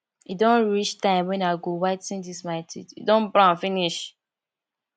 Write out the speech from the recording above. e don reach time wen i go whi ten dis my teeth e don brown finish